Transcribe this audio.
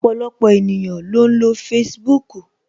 Ọpọlọpọ ènìyàn ló ń lo Facebook